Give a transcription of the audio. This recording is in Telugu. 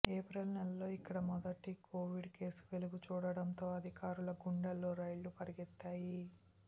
ఏప్రిల్ నెలలో ఇక్కడ మొదటి కొవిడ్ కేసు వెలుగు చూడడంతో అధికారుల గుండెల్లో రైళ్లు పరిగెత్తాయి